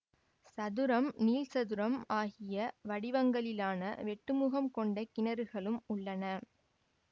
சதுரம் நீள்சதுரம் ஆகிய வடிவங்களிலான வெட்டுமுகம் கொண்ட கிணறுகளும் உள்ளன